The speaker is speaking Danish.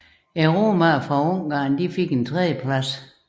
Romaerne fra Ungarn fik et tredjeplads